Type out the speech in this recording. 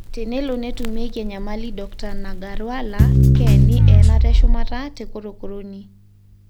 Tenelo netumieki enyamali Dokta Nagarwala keni enata eshumata te korokoroni.